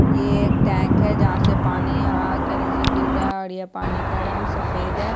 ये एक टेंक है जहाँ से पानी आके नीचे गिर रहा है और यह पानी का रंग सफ़ेद है।